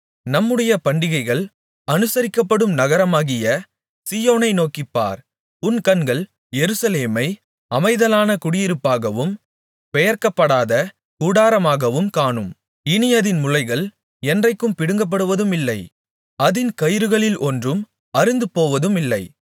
நம்முடைய பண்டிகைகள் அனுசரிக்கப்படும் நகரமாகிய சீயோனை நோக்கிப்பார் உன் கண்கள் எருசலேமை அமைதலான குடியிருப்பாகவும் பெயர்க்கப்படாத கூடாரமாகவும் காணும் இனி அதின் முளைகள் என்றைக்கும் பிடுங்கப்படுவதுமில்லை அதின் கயிறுகளில் ஒன்றும் அறுந்துபோவதுமில்லை